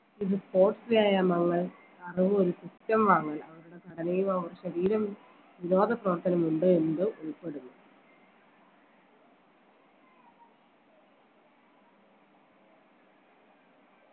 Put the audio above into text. ഇത് sports വ്യായാമങ്ങൾ അറിയുന്ന system വാങ്ങൽ അവരുടെ ഘടനയിലോ ശരീര വിനോദ പ്രവർത്തനം ഉണ്ടോ എന്നിവയും ഉൾപ്പെടുന്നു